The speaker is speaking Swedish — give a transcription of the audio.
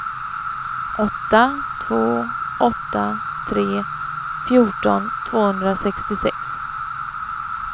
åtta två åtta tre fjorton tvåhundrasextiosex